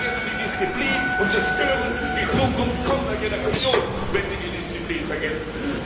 Sie vergessen die Disziplin und zerstören die Zukunft kommender Generationen, wenn sie die Disziplin vergessen.